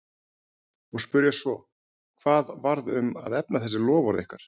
Og spyrja svo, hvað varð um að efna þessi loforð ykkar?